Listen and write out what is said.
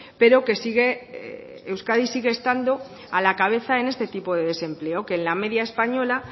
pero que sigue euskadi sigue estando a la cabeza en este tipo de desempleo que en la media española